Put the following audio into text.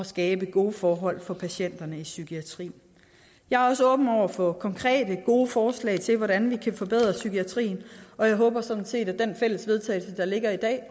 skabe gode forhold for patienterne i psykiatrien jeg er også åben over for konkrete og gode forslag til hvordan vi kan forbedre psykiatrien og jeg håber sådan set at det fælles vedtagelse der ligger i dag